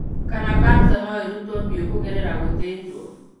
Kana kanca no ĩrutwo biũ kũgerera gũthĩnjwo.